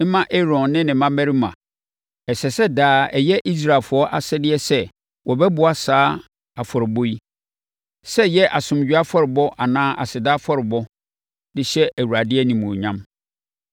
mma Aaron ne ne mmammarima. Ɛsɛ sɛ daa ɛyɛ Israelfoɔ asɛdeɛ sɛ wɔbɛboa saa afɔrebɔ yi—sɛ ɛyɛ asomdwoeɛ afɔrebɔ anaa aseda afɔrebɔ, de hyɛ Awurade animuonyam.